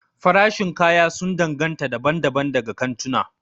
Farashin kaya sun danganta daban-daban daga kantuna.